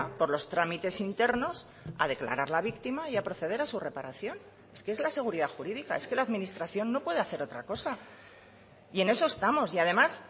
por los trámites internos a declararla víctima y a proceder a su reparación es que es la seguridad jurídica es que la administración no puede hacer otra cosa y en eso estamos y además